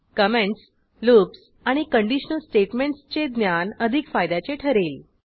comments loops आणि conditional स्टेटमेंटसचे ज्ञान अधिक फायद्याचे ठरेल